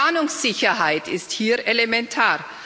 Planungssicherheit ist hier elementar.